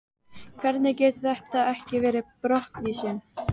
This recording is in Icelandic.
Hvernig getur þetta ekki verið brottvísun?